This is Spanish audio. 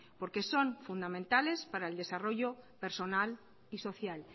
porque son fundamentales para el desarrollo personal y social